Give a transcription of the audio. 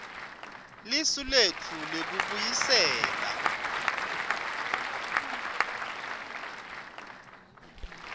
lisu letfu lekubuyisela